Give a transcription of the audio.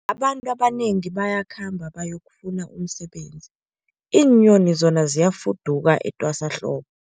Abantu abanengi bayakhamba bayokufuna umsebenzi, iinyoni zona ziyafuduka etwasahlobo.